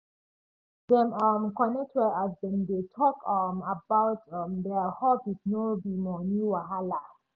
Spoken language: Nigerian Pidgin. dem um connect well as dem dey talk um about um their hobbies no be money wahala